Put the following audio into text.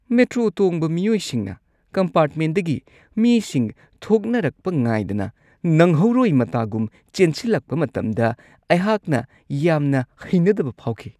Metro ꯇꯣꯡꯕ ꯃꯤꯑꯣꯏꯁꯤꯡꯅ ꯀꯝꯄꯥꯔ꯭ꯠꯃꯦꯟꯗꯒꯤ ꯃꯤꯁꯤꯡ ꯊꯣꯛꯅꯔꯛꯄ ꯉꯥꯏꯗꯅ ꯅꯪꯍꯧꯔꯣꯏ ꯃꯇꯥꯒꯨꯝ ꯆꯦꯟꯁꯤꯜꯂꯛꯄ ꯃꯇꯝꯗ ꯑꯩꯍꯥꯛꯅ ꯌꯥꯝꯅ ꯍꯩꯅꯗꯕ ꯐꯥꯎꯈꯤ ꯫